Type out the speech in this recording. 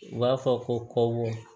U b'a fɔ ko kɔbɔ